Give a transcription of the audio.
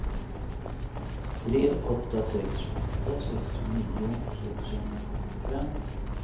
tre åtta sex åtta sextionio sexhundrasjuttiofem